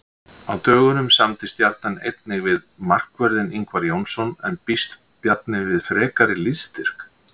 Á dögunum samdi Stjarnan einnig við markvörðinn Ingvar Jónsson en býst Bjarni við frekari liðsstyrk?